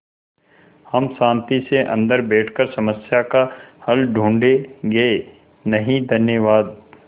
हम शान्ति से अन्दर बैठकर समस्या का हल ढूँढ़े गे नहीं धन्यवाद